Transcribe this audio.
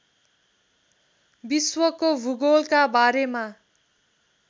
विश्वको भूगोलका बारेमा